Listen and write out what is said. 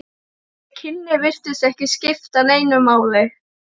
Þau kynni virtust ekki skipta neinu máli.